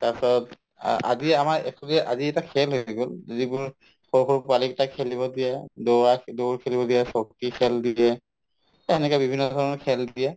তাৰপিছত আ আজি আমাৰ actually আজি খেল হৈ গল যিকোনো সৰু সৰু পোৱালি কেইটাক খেলিব দিয়া দৌৰা‍ দৌৰ খেলিব দিয়ে, চকী খেল দিয়ে to এনেকে ধৰণৰ বিভিন্ন খেল দিয়ে